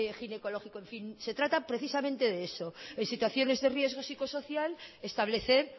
ginecológico en fin se trata precisamente de eso en situaciones de riesgo psicosocial establecer